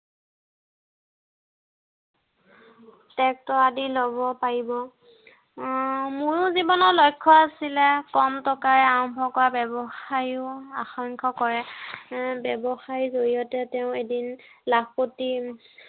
Tractor আদি লব পাৰিব। উম মোৰো জীৱনৰ লক্ষ্য় আছিলে। কম টকাৰে আৰম্ভ কৰা ব্য়ৱসায়ো আকাংক্ষা কৰে। এৰ ব্য়ৱসায়ৰ জৰিয়তে তেওঁ এদিন লাখপতি উম